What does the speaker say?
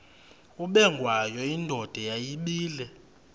ubengwayo indoda yayibile